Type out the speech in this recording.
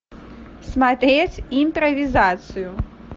смотреть импровизацию